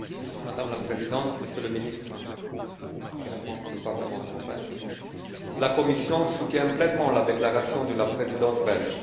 Madame la Présidente, Monsieur le ministre, chers membres du Parlement européen, la Commission soutient pleinement la déclaration de la Présidence belge.